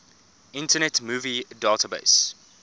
internet movie database